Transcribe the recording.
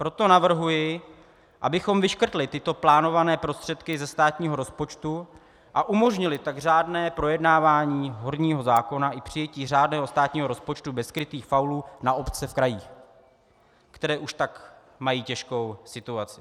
Proto navrhuji, abychom vyškrtli tyto plánované prostředky ze státního rozpočtu, a umožnili tak řádné projednávání horního zákona i přijetí řádného státního rozpočtu bez skrytých faulů na obce v krajích, které už tak mají těžkou situaci.